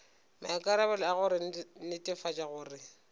maikarabelo a go netefatša gore